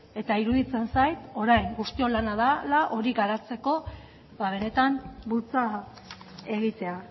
eta iruditzen zait orain guztion lana dela hori garatzeko benetan bultza egitea